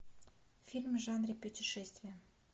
фильмы в жанре путешествия